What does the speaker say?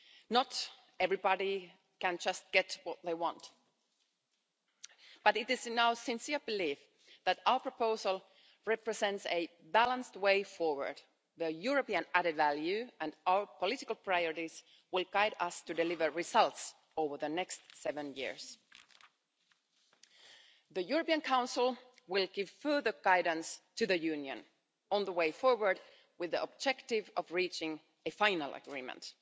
Not everybody can just get what they want, but it is our sincere belief that our proposal represents a balanced way forward. The European added value and our political priorities will guide us to deliver results over the next seven years. The European Council will give further guidance to the Union on the way forward, with the objective of reaching a final agreement.